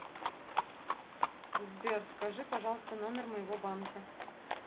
сбер скажи пожалуйста номер моего банка